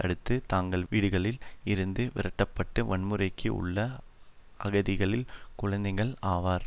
அடுத்து தங்கள் வீடுகளில் இருந்து விரட்டப்பட்டு வன்முறைக்கு உள்ளான அகதிகளின் குழந்தைகள் ஆவர்